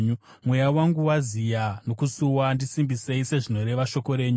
Mweya wangu waziya nokusuwa; ndisimbisei sezvinoreva shoko renyu.